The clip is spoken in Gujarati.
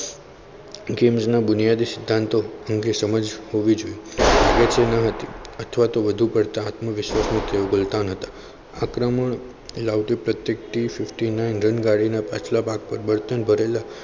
દુનિયાના સિદ્ધાંતો એમને સમજ હોવી જોઈએ એમને સમજ ન હતી અથવા તો વધુ પડતી આત્મવિશ્વાસ તેઓ કેળવતા ન હતા. આક્રમક loud ટુ ફિફ્ટી નાઈન દરેક ગાડીના પાછલા ભાગ પર બળતણ ભરેલા.